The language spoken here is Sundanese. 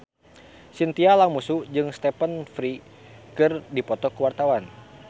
Chintya Lamusu jeung Stephen Fry keur dipoto ku wartawan